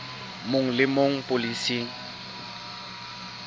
mong le e mong polasing